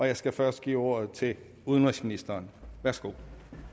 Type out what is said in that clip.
jeg skal først give ordet til udenrigsministeren værsgo